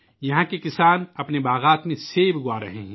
یہاں کے کاشتکار اپنے باغات میں سیب اُگا رہے ہیں